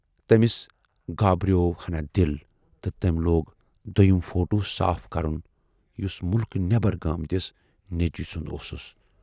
" تٔمِس گابریوو ہَنا دِل تہٕ تٔمۍ لوگ دویِم فوٹوٗ صاف کَرُن یُس مُلکہٕ نٮ۪برَ گٲمٕتِس نیچوِس سُند اوسُس۔